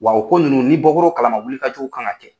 Wa u ko nunnu ni bɔkoro kalama wuli ka jow kan ka kɛ